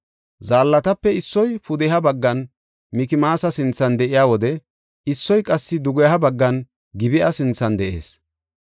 Zaallatape issoy pudeha baggan Mikmaasa sinthan de7iya wode, issoy qassi dugeha baggan Gib7a sinthan de7ees.